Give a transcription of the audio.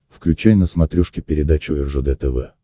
включай на смотрешке передачу ржд тв